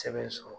Sɛbɛn sɔrɔ